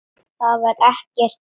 Það var ekkert hlé.